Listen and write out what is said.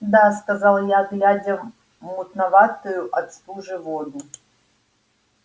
да сказал я глядя в мутноватую от стужи воду